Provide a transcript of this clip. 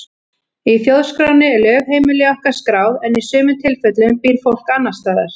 Í þjóðskránni er lögheimili okkar skráð en í sumum tilfellum býr fólk annars staðar.